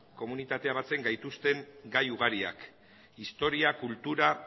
komunitatea batzen gaituzten gai ugariak historia kultura